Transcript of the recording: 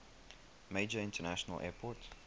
major international airport